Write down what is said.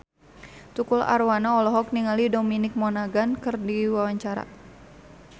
Tukul Arwana olohok ningali Dominic Monaghan keur diwawancara